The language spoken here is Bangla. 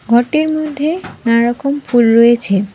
ঘরটির মধ্যে নানা রকম ফুল রয়েছে।